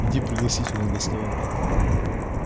иди пригласительные доставай